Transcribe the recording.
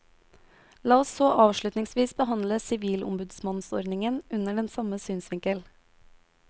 La oss så avslutningsvis behandle sivilombudsmannsordningen under den samme synsvinkel.